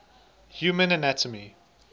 human anatomy